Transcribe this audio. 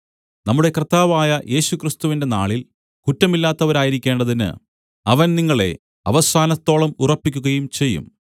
നമ്മുടെ കർത്താവായ യേശുക്രിസ്തുവിന്റെ നാളിൽ കുറ്റമില്ലാത്തവരായിരിക്കേണ്ടതിന് അവൻ നിങ്ങളെ അവസാനത്തോളം ഉറപ്പിക്കുകയും ചെയ്യും